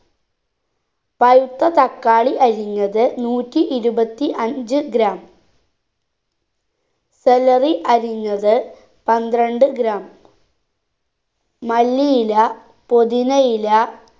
പഴുത്ത തക്കാളി അരിഞ്ഞത് നൂറ്റി ഇരുപത്തി അഞ്ച്‌ gram celery അരിഞ്ഞത് പന്ത്രണ്ട് gram മല്ലിയില പൊതിനയില